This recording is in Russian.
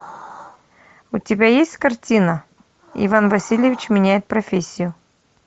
у тебя есть картина иван васильевич меняет профессию